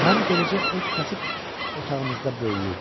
Mən beləcə öz kasıb otağımızda böyüyürdüm.